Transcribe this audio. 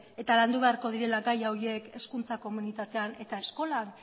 eta landu beharko direla gai horiek hezkuntza komunitatean eta eskolan